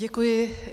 Děkuji.